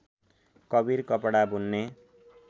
कवीर कपडा बुन्ने